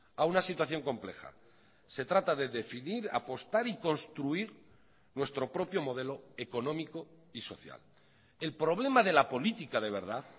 a una situación compleja se trata de definir apostar y construir nuestro propio modelo económico y social el problema de la política de verdad